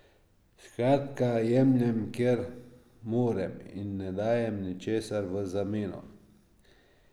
Skratka, jemljem, kjer morem, in ne dajem ničesar v zameno.